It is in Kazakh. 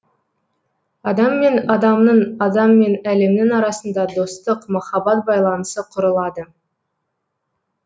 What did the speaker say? адам мен адамның адам мен әлемнің арасында достық махаббат байланысы құрылады